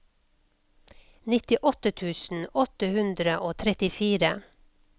nittiåtte tusen åtte hundre og trettifire